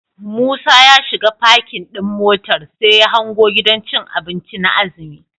Musa ya shiga parking ɗin motar, sai ya hango gidan cin abinci na azumi.